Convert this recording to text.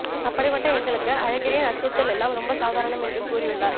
அப்படிப்பட்ட எங்களுக்கு அழகிரியின் அச்சுறுத்தல் எல்லாம் ரொம்ப சாதாரணம் என்று கூறியுள்ளார்